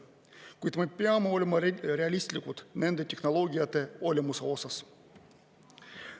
Kuid me peame olema realistlikud nende tehnoloogiate olemuse osas.